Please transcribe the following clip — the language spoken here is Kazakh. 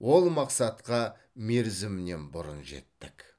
ол мақсатқа мерзімінен бұрын жеттік